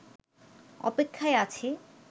অপেক্ষায় আছি